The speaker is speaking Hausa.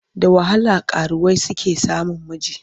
Da wahala karuwai suke samun miji.